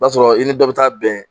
I b'a sɔrɔ i ni dɔ bi taa bɛn